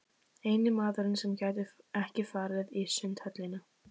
Eini maðurinn sem gæti ekki farið í Sundhöllina.